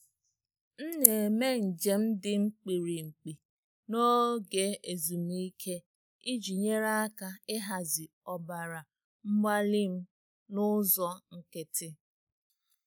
M na-eme njem dị mkpirikpi n'oge ezumike iji nyere aka ịhazi ọbara mgbali m ọbara mgbali m n'ụzọ nkịtị.